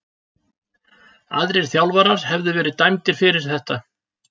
Aðrir þjálfarar hefðu verið dæmdir fyrir þetta.